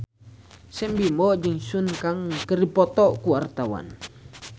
Sam Bimbo jeung Sun Kang keur dipoto ku wartawan